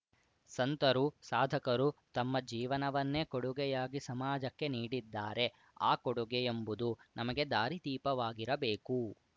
ಸಂತರು ಸಾಧಕರು ತಮ್ಮ ಜೀವನನ್ನೇ ಕೊಡುಗೆಯಾಗಿ ಸಮಾಜಕ್ಕೆ ನೀಡಿದ್ದಾರೆ ಆ ಕೊಡುಗೆಯೆಂಬುದು ನಮಗೆ ದಾರಿದೀಪವಾಗಿರಬೇಕು